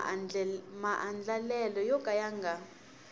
maandlalelo yo ka ya nga